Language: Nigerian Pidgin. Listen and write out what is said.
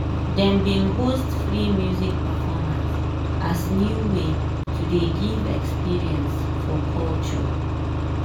dem bin host free music performance as new way to dey give experience for culture.